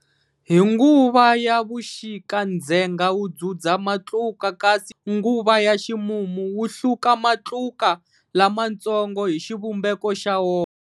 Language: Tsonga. Hi nguva ya vuxika ndzhenga wu dzudza matluka kasi nguva ya ximumu wa hluka matluka lamantsongo hi xivumbeko xa wona.